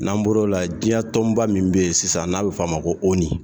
N'an bɔr'o la diɲɛ tɔnba min bɛ yen sisan n'a bɛ fɔ o ma ko ONU